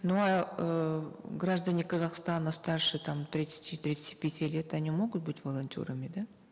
ну а эээ граждане казахстана страше там тридцати тридцати пяти лет они могут быть волонтерами да